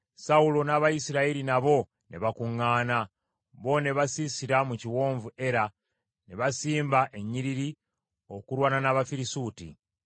Sawulo n’Abayisirayiri nabo ne bakuŋŋaana, bo ne basiisira mu kiwonvu Era, ne basimba ennyiriri okulwana n’Abafirisuuti.